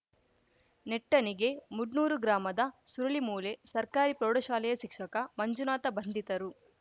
ನೆಟ್ಟಣಿಗೆ ಮುಡ್ನೂರು ಗ್ರಾಮದ ಸುರುಳಿಮೂಲೆ ಸರ್ಕಾರಿ ಪ್ರೌಢಶಾಲೆಯ ಶಿಕ್ಷಕ ಮಂಜುನಾಥ ಬಂಧಿತರು